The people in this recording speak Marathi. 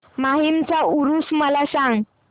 माहीमचा ऊरुस मला सांग